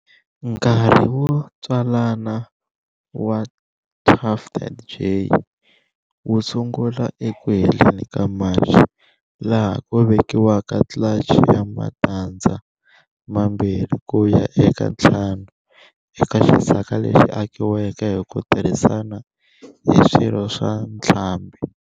Nkarhi wotswalana wa tufted jay wusungula eku heleni ka March, laha ku vekiwaka clutch ya matandza mambirhi kuya eka ntlhanu eka xisaka lexi akiweke hiku tirhisana hi swirho swa ntlhambi.